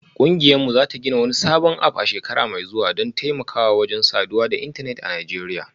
Kungiyarmu za ta gina wani sabon app a shekara mai zuwa don taimakawa wajen saduwa da intanet a Najeriya